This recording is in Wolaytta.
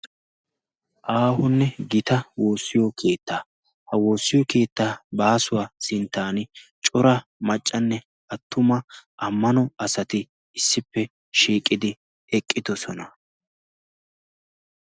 aahonne gita woossiyo kiittaa ha woossiyo kiittaa baasuwaa sinttan cora maccanne attuma ammano asati issippe shiiqidi eqqidosona.